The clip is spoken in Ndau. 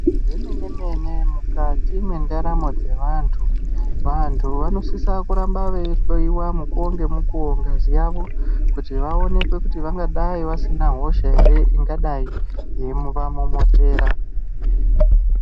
Zvemene mene mukati mwendaramo dzevantu, vantu vanosise kuramba veihloyiwa mukuwo nemukuwo ngazi yawo kuti vaoneke kuti vangadai vasina hosha ere ingadai yeivamomotera.